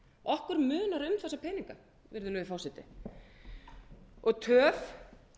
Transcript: okkur munar um þessa peninga virðulegi forseti og töf